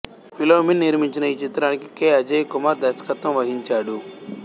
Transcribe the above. ఫిలోమిన నిర్మించిన ఈ చిత్రానికి కె అజేయకుమార్ దర్శకత్వం వహించాడు